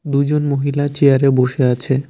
দুজন মহিলা চেয়ারে বসে আছে।